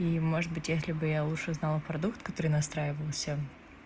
и может быть если бы я лучше знала продукт который настраивался